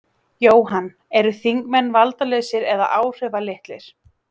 Jóhann: Eru þingmenn valdalausir eða áhrifalitlir?